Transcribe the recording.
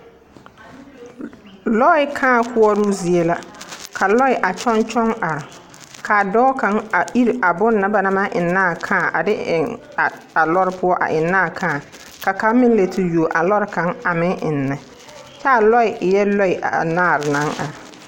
Lɔɛ kaa koɔroo zie la Ka lɔɛ a kyɔŋkyɔŋ are kaa dɔɔ kaŋ a iri a bonna ba naŋ maŋ eŋnaa kaa a de eŋ a lɔɔre poɔ a eŋnaa kaa ka kaŋ meŋ la te yuo a lɔɔre kaŋ a meŋ eŋnɛ kyɛ a lɔɛ eɛɛ lɔɛ anaare naŋ are.